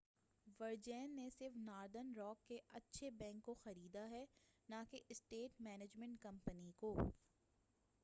ورجین نے صرف Northern Rock کے اچھے بینک' کو خریدا ہے نہ کہ اسیٹ مینجمنٹ کمپنی کو